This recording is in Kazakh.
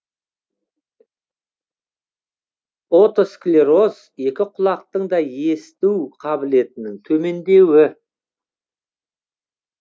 отосклероз екі құлақтың да есіту қабілетінің төмендеуі